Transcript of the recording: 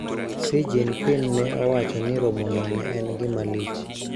Xi Jinping ne owacho ni romono ne en gima lich.